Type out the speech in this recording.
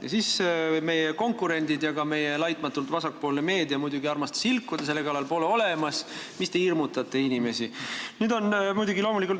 Ja meie konkurendid ja ka meie laitmatult vasakpoolne meedia muidugi armastasid selle kallal ilkuda – seda pole olemas, mis te hirmutate inimesi.